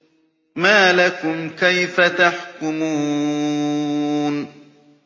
مَا لَكُمْ كَيْفَ تَحْكُمُونَ